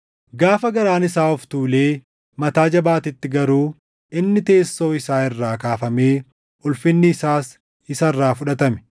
Gaafa garaan isaa of tuulee mataa jabaatetti garuu inni teessoo isaa irraa kaafamee ulfinni isaas isa irraa fudhatame.